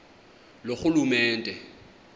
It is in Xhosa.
loorhulumente